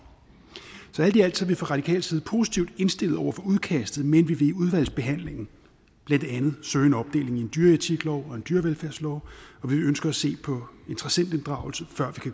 så alt i alt vi fra radikales side positivt indstillet over for udkastet men vi vil i udvalgsbehandlingen blandt andet søge en opdeling i en dyretiklov og en dyrevelfærdslov og vi ønsker at se på interessentinddragelse før vi